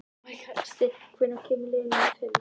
Steinn, hvenær kemur leið númer fimm?